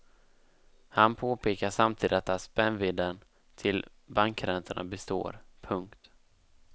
Han påpekar samtidigt att spännvidden till bankräntorna består. punkt